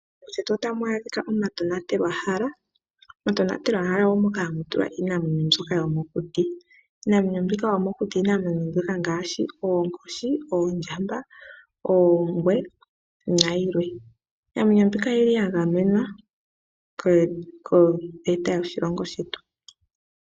Moshilongo shetu otamu adhika omatonatelwahala. Omatonatelwahala omahala moka hamu adhika iinamwenyo yomokuti. Iinamwenyo yomokuti iinamwenyo mbyoka ngaashi oonkoshi, oondjamba, oongwe nayilwe. Iinamwenyo mbika oya gamenwa koveta yoshilongo shetu.